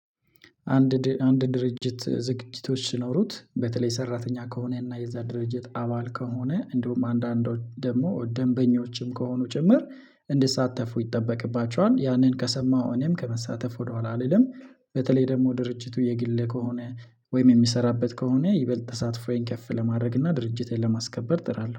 አንድን ድርጅት ዝግጅቶች ሲኖሩት በተለይ ሰራተኛ ከሆነ እና የዛ ድርጅት አባል ከሆነ እንደውም አንዳንዶች ደግሞ ደንበኞችም ከሆኑ ጭምር እንድሳተፉ ይጠበቅባቸዋል ያንን ከሰማሁ እኔም ከመሳተፍ ወደኋላ አልልም። በተለይ ደግሞ ድርጅቱ የግለ ከሆነ ወይም የምሰራበት ከሆነ ይበልጥ ተሳትፎኝ ከፍ ለማድረግ እና ድርጅቴን ለማስከበር ጥራለሁ